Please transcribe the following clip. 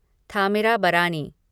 Thamirabarani